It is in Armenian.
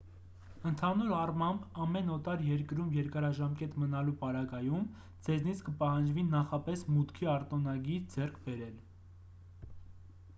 ընդհանուր առմամբ ամեն օտար երկրում երկարաժամկետ մնալու պարագայում ձեզնից կպահանջվի նախապես մուտքի արտոնագիր ձեռք բերել